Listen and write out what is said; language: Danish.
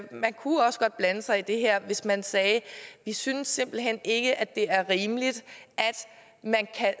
man kunne også godt blande sig i det her hvis man sagde vi synes simpelt hen ikke at det er rimeligt